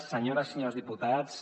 senyores i senyors diputats